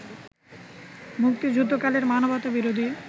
মুক্তিযুদ্ধকালের মানবতাবিরোধী